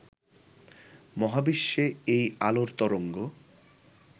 মহাবিশ্বে এই আলোর তরঙ্গ